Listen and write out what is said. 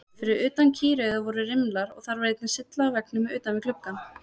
Fyrir utan kýraugað voru rimlar og þar var einnig sylla á veggnum utan við gluggann.